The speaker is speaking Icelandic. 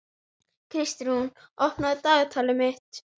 Kalkað líf, kræklótt líf, stanslaus elli.